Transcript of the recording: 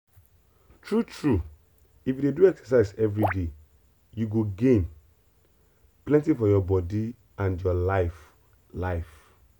true true if you dey do exercise everyday you go gain plenty for your body and your life. life.